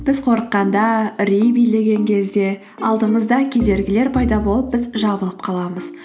біз қорыққанда үрей билеген кезде алдымызда кедергілер пайда болып біз жабылып қаламыз